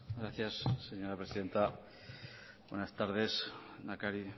gracias señora presidenta buenas tardes lehendakari